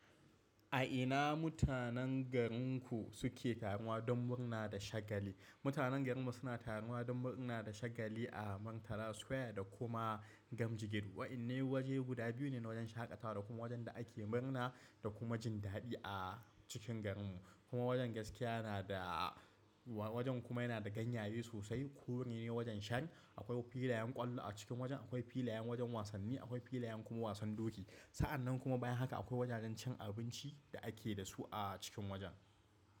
A ina mutanen garinku suke taruwa don murna da shagali? Mutanen garinmu suna taruwa don murna da shagali a Murtala Square da kuma Gamji gate. Waƴanne waje guda biyu ne na wajen shaƙatawa da kuma wajen da ake murna da kuma jin daɗi a cikin garinmu. Kuma wajen gaskiya na da, wajen kuma yana da ganyaye sosai. Kuri ne wajen shan, akwai filayen ƙwallo a cikin wajen, akwai filayen wajen wasanni, akwai filayen kuma wasan doki. Sa'annan kuma bayan haka akwai wajajen cin abinci da ake da su a cikin wajen.